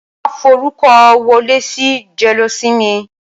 Wàá forúkọ wọlé sí jẹ́lósinmi!